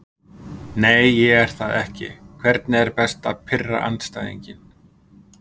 Nei ég er það ekki Hvernig er best að pirra andstæðinginn?